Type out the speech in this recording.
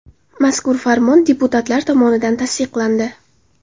Mazkur farmon deputatlar tomonidan tasdiqlandi.